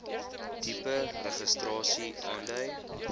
tipe registrasie aandui